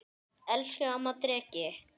Elsku amma Dreki.